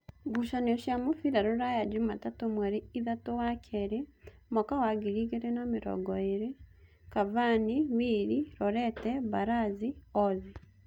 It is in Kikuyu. Ngucanio cia mũbira Ruraya Jumatatũ mweri ithatũ wakeerĩ mwaka wa ngiri igĩrĩ na namĩrongoĩrĩ: Kavani, Wili, Rorete, Baraga, Ozi